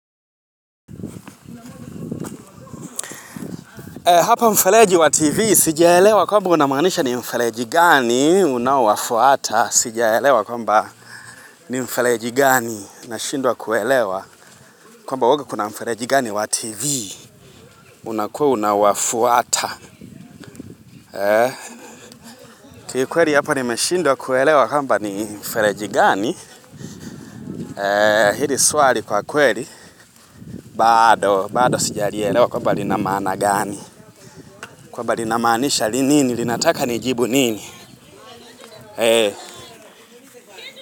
Hapa mfereji wa TV, sijaelewa kwamba unamaanisha ni mfereji gani, unaowafuata, sijaelewa kwamba ni mfereji gani, nashindwa kuelewa, kwamba huwaga kuna mfereji gani wa TV, unakuwa unawafuata. Ki kweli hapa nimeshindwa kuelewa kwamba ni mfereji gani, hili swali kwa kweli, bado, bado sijalielewa kwamba lina maana gani, kwamba lina maanisha ni nini, linataka nijibu nini.